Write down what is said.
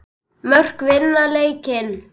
Mörk vinna leiki.